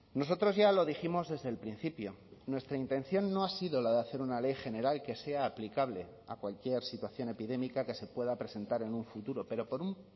nosotros ya lo dijimos desde el principio nuestra intención no ha sido la de hacer una ley general que sea aplicable a cualquier situación epidémica que se pueda presentar en un futuro pero por un